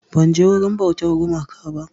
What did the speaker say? Ban je wurin bautar gumaka ba